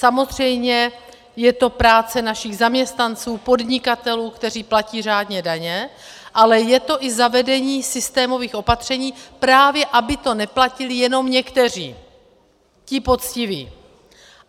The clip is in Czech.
Samozřejmě je to práce našich zaměstnanců, podnikatelů, kteří platí řádně daně, ale je to i zavedení systémových opatření, právě aby to neplatili jenom někteří, ti poctiví.